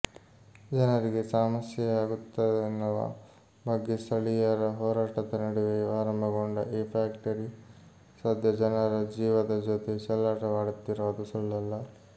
ಜನರಿಗೆ ಸಮಸ್ಯೆಯಾಗುತ್ತದೆನ್ನುವ ಬಗ್ಗೆ ಸ್ಥಳೀಯರ ಹೋರಾಟದ ನಡುವೆಯೂ ಆರಂಭಗೊಂಡ ಈ ಫ್ಯಾಕ್ಟರಿ ಸದ್ಯ ಜನರ ಜೀವದ ಜೊತೆ ಚೆಲ್ಲಾಟವಾಡುತ್ತಿರೋದು ಸುಳ್ಳಲ್ಲ